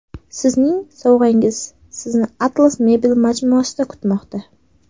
Sizning sovg‘angiz Sizni Atlas Mebel majmuasida kutmoqda.